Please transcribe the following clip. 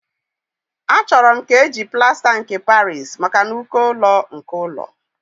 Achọrọ m ka eji plasta nke Paris maka n'uko ụlọ nke ụlọ